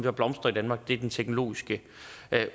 at blomstre i danmark er den teknologiske